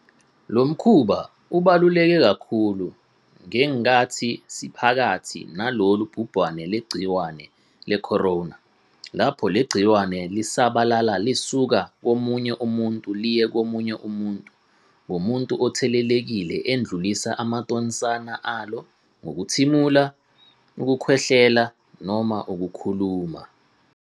Lo mkhuba ubaluleke kakhulu ngenkathi siphakathi nalolu bhubhane lwegciwane le-corona lapho leli gciwane lisabalala lisuka komunye umuntu liye komunye umuntu ngomuntu othelelekile edlulisa amathonsana alo ngokuthimula, ukukhwehlela noma ukukhuluma.